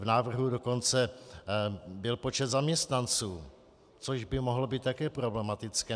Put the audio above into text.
V návrhu dokonce byl počet zaměstnanců, což by mohlo být také problematické.